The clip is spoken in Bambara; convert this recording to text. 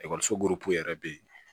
Ekɔliso buru yɛrɛ bɛ yen